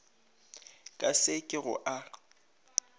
ka se ke go a